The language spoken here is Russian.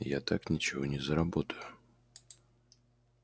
я так ничего не заработаю